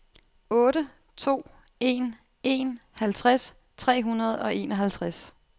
otte to en en halvtreds tre hundrede og enoghalvtreds